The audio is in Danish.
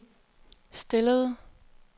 stillede